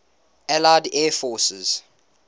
allied air forces